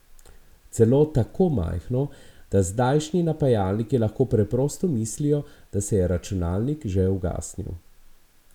Celo tako majhno, da zdajšnji napajalniki lahko preprosto mislijo, da se je računalnik že ugasnil.